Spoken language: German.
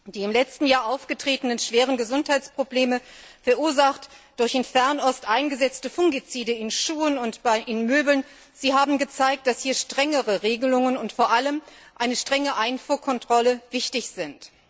Die im letzten Jahr aufgetretenen schweren Gesundheitsprobleme, verursacht durch in Fernost eingesetzte Fungizide in Schuhen und Möbeln, haben gezeigt, dass hier strengere Regelungen und vor allem eine strenge Einfuhrkontrolle wichtig sind.